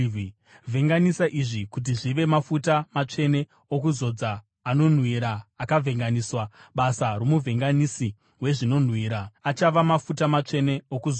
Vhenganisa izvi kuti zvive mafuta matsvene okuzodza, anonhuhwira akavhenganiswa, basa romuvhenganisi wezvinonhuhwira. Achava mafuta matsvene okuzodza.